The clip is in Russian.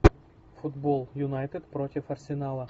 футбол юнайтед против арсенала